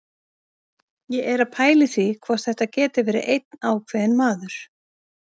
Ég er að pæla í því hvort þetta geti verið einn ákveðinn maður.